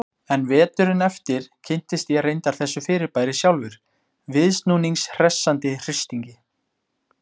En veturinn eftir kynntist ég reyndar þessu fyrirbæri sjálfur, viðsnúnings hressandi hristingi.